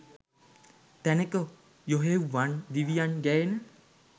තැනෙක යොහොවඃ දෙවියන්ට ගැයෙන